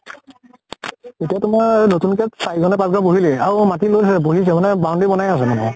এতিয়া তোমাৰ নতুনকে চাৰি ঘৰ নে পাঁছ ঘৰ বহিলে। আৰু মাটি লৈ বহিছে মানে boundary বনাই আছে মানে।